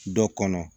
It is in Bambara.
Dɔ kɔnɔ